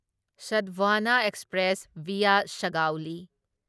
Sadbhavna express ꯚꯤꯌꯥ ꯁꯒꯥꯎꯂꯤ